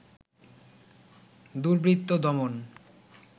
দুর্বৃত্ত দমন